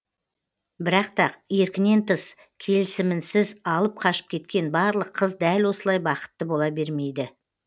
бірақ та еркінен тыс келісімінсіз алып қашып кеткен барлық қыз дәл осылай бақытты бола бермейді